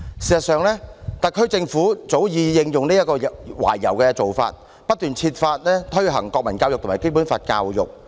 事實上，特區政府早已應用這種懷柔的做法，不斷設法推行國民教育和《基本法》教育。